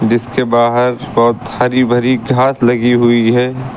इसके बाहर बहोत हरी भरी घास लगी हुई है।